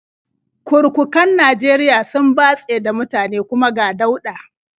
Kurkukan Najeriya sun batse da mutane, kuma ga dauɗa.